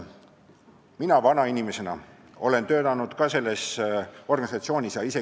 Mina vanainimesena olen ka selles organisatsioonis töötanud.